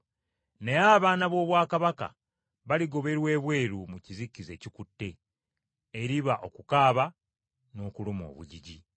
Naye abaana b’obwakabaka, baligoberwa ebweru mu kizikiza ekikutte, eriba okukuba ebiwoobe n’okuluma obujiji.”